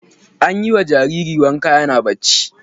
An yi wa jariri wanka yana barci.